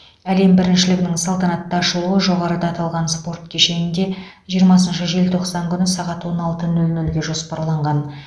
әлем біріншілігінің салтанатты ашылуы жоғарыда аталған спорт кешенде жиырмасыншы желтоқсан күні сағат он алты нөл нөлге жоспарланған